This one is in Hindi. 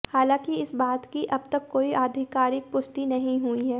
हालांकि इस बात की अब तक कोई आधिकारिक पुष्टि नहीं हुई है